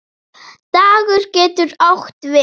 Dagur getur átt við